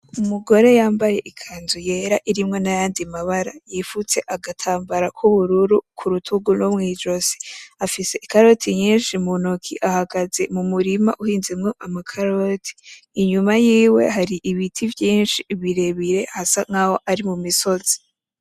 Umugore yambaye ikanzu yera irimwo n’ayandi mabara, yifutse agatambara k’ubururu kurutugu no mw'ijosi, afise ikarote nyinshi mu noki, ahagaze mu murima uhinzemo amakarote. Inyuma yiwe hari ibiti vyinshi birebire hasa nk’aho ari mu misozi.